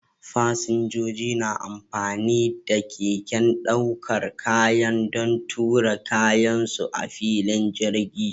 Fasinjoji na amfani da keken ɗaukar kaya don tura kayan su a filin jirgi.